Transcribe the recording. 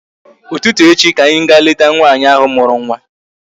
Ụtụtụ echi ka anyị ga leta nwaanyị ahụ mụrụ nwa